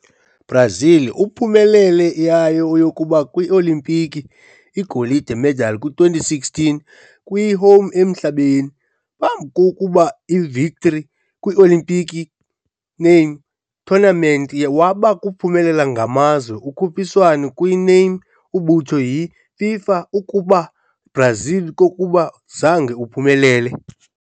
Brazil uphumelele yayo yokuqala kwi-olimpiki, igolide medal kwi-2016 kwi-home emhlabeni. Phambi ukuba victory, kwi-olimpiki name tournament waba kuphela ngamazwe ukhuphiswano kwi-name umbutho yi-FIFA ukuba Brazil kokuba zange uphumelele.